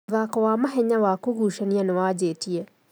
Mũthako wa mahenya wa kũgucania nĩwanjĩtie